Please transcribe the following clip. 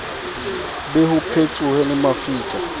be ho petsohe le mafika